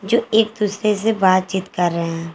जो एक दूसरे से बातचीत कर रहे हैं।